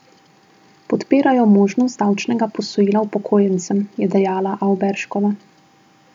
Podpirajo možnost davčnega posojila upokojencem, je dejala Avberškova.